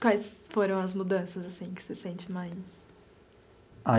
Quais foram as mudanças assim que você sente mais?